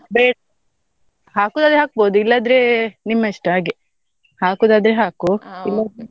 ಬೆ~ ಹಾಕುದಾದ್ರೆ ಹಾಕ್ಬೋದು ಇಲ್ಲದ್ರೆ ನಿಮ್ಮ ಇಷ್ಟ ಹಾಗೆ ಹಾಕುದಾದ್ರೆ ಹಾಕು ಇಲ್ಲದ್ರೆ.